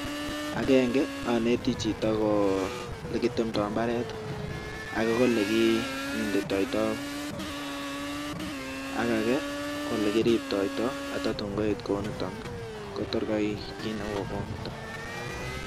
Akenge anetii. Jitoo olekitemtai mbaret ak olekimintai ak olekiriptai kotkoek